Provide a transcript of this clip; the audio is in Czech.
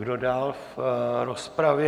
Kdo dál v rozpravě?